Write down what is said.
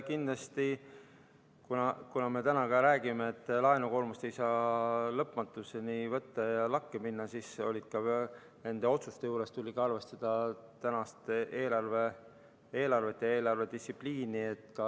Kindlasti, kuna me täna räägime, et laenu ei saa lõpmatuseni võtta ja laenukoormus ei saa lakke minna, siis ka nende otsuste juures tuli arvestada tänast eelarvet ja eelarvedistsipliini.